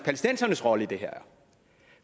palæstinensernes rolle i det her